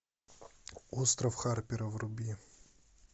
остров харпера вруби